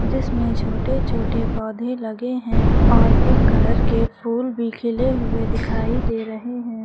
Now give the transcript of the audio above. जिसमें छोटे छोटे पौधे लगे हैं और पिंक कलर के फूल भी खेले हुए दिखाई दे रहे हैं।